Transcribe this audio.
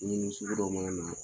dimini sugu dɔw mana na